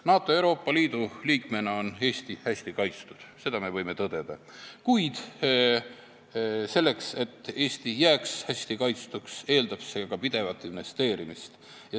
NATO ja Euroopa Liidu liikmena on Eesti hästi kaitstud, seda me võime tõdeda, kuid see, et Eesti jääks hästi kaitstuks, eeldab pidevat investeerimist.